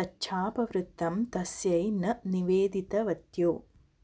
तच्छापवृत्तं तस्यै न निवेदितवत्यो